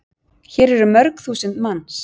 Hér eru mörg þúsund manns.